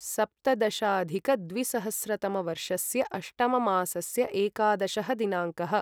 सप्तदशाधिकद्विसहस्रतमवर्षस्य अष्टममासस्य एकादशः दिनाङ्कः